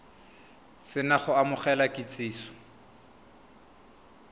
se na go amogela kitsiso